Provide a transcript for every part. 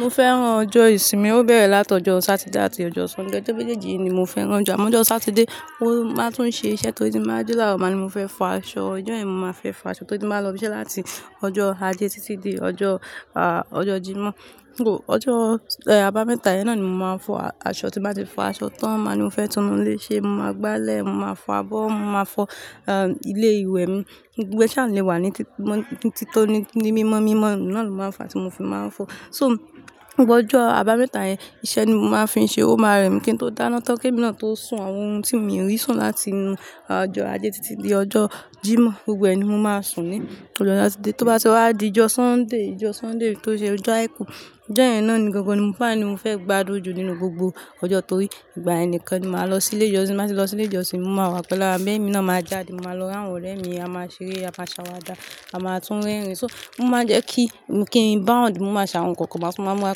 Mo fẹ́ràn ọjọ́ ìsinmi, ó bẹ̀rẹ̀ láti ọjọ́ Satide àti ọjọ́ Sunday. Ọjọ́ méjèèjì ni mo fẹ́ràn jù, àmọ́ ọjọ́ Satide, mo máa tún ṣe iṣẹ́ torí tí máa ji lároo maa ni mo fẹ́ fọ aṣọ. Ọjọ́ ìyen mo máa fẹ́ fọ aṣọ torí tí máa lọ ibi iṣẹ́ láti ọjọ́ Ajé títí di ọjọ́, ah, ọjọ́ Jímọ̀. Ooo, ọjọ́, eh, àbámẹ́ta yẹn náà ni mo máa fọ aṣọ. Tí n bá ti fọ aṣọ tán, máa ni mo fẹ́ tunu ilé ṣe, mo máa gbálẹ̀, mo máa fọ abọ́, mo máa fọ, ahn, ilé ìwẹ̀ mi. Gbogbo e sha lè wà ní títí mọ́, títoni ní mímọ́ mímọ́ náà ni lo máa ń fa ti mo fi máa ń fọ. So, gbogbo ọjọ́ àbámẹ́ta yẹn iṣẹ́ ni mo máa fi ń ṣe. Ó máa rẹ mi kí n tó dáná tán kí èmi náà tó sun àwọn ohun tí mi o rí sùn láti inú, ah ọjọ́ Ajé títí di ọjọ́ Jímọ̀. Gbogbo ẹni mo máa sùn ní ọjọ́ Satide. Tó bá ti wá di ọjọ́ Sunday, ọjọ́ Sunday to n ṣe ọjọ́ àìkú, ọjọ́ ìyẹn náà ni gangan ní mo fe ni mo fẹ́ gbádùn jù nínú gbogbo ọjọ́ torí ìgbà yen nikan ni màá lọ sí ilé ìjọsìn. Ti n ba ti lọ sí ilé ìjọsìn, mo máa wá pẹ́lú ará mi abi emi náa jáde, mo máa lọ ri àwọn ọ̀rẹ́ mi, a máa ṣeré, a máa ṣàwàdà, a máa tún rẹ́rìn-ín. So, mo máa jẹ́ kí, kí n báwọ̀ ní mo máa ṣe awọn nǹkan kan bá ti máa múra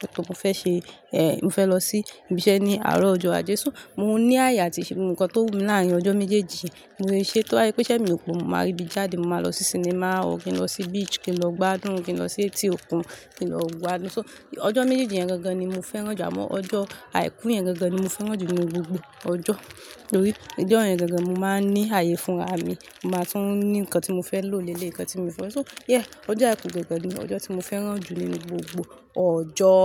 kí tó bá fẹ́ ṣe, ehn, mo fẹ́ lọ sí ibi iṣẹ́ ní àárọ̀ ọjọ́ Ajé. So, mo ní ààyè àti ṣe nǹkan tó wù mí láàyè ọjọ́ méjèèjì, mo lè ṣe. Tó bá yí pé iṣẹ́ mi kò máa ribi jáde, mo máa lọ sí sinimá, òkin lọ sí beach kí n lọ gbádùn, kí n lọ sí etí òkun kí n lọ gbádùn. So, ọjọ́ méjèèjì yẹn gangan ni mo fẹ́ràn jù, àmọ́ ọjọ́ àìkú yẹn gangan ni mo fẹ́ràn jù nínú gbogbo ọjọ́ torí ọjọ́ yẹn gangan mo máa ní ààyè fún ara mi, mo máa tún ní nǹkan tí mo fẹ́ lò léle, nǹkan tí mo fẹ́. So, yeah, ọjọ́ àìkú gangan ni ọjọ́ tí mo fẹ́ràn jù nínú gbogbo ọ̀jọ́.